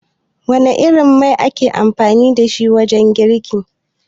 Wana irin mai ake amfani dashi wajen girki?